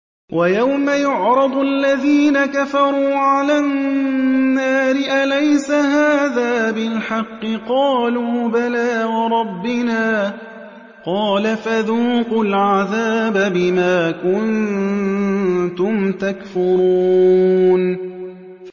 وَيَوْمَ يُعْرَضُ الَّذِينَ كَفَرُوا عَلَى النَّارِ أَلَيْسَ هَٰذَا بِالْحَقِّ ۖ قَالُوا بَلَىٰ وَرَبِّنَا ۚ قَالَ فَذُوقُوا الْعَذَابَ بِمَا كُنتُمْ تَكْفُرُونَ